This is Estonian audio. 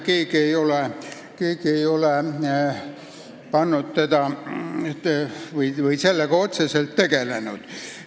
Keegi ei ole sellega otseselt tegelenud.